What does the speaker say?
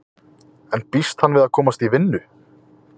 En býst hann við að komast í vinnu?